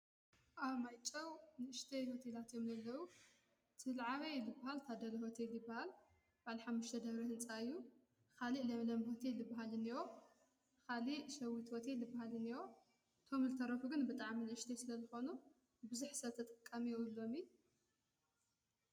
ኣ ማይጾው ንእሽተይ ሁቲ ላት የምለለዉ ትልዓበይ ልበሃል ታደል ሁት ልበሃል ባልሓምሽተ ደብሪ ሕንጻዩ ኻሊእ ለምለም ሆቲ ልበሃልንእዎ ኻሊ ሸዊት ወቲ ልበሃልን እዎ ቶም ልተረፉ ግን ብጥዓ ምንእሽተ ስለለኾኑ ብዙኅ ሰተ ጠቃም የውሎሚ።